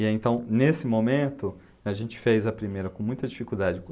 Então, nesse momento, a gente fez a primeira com muita dificuldade.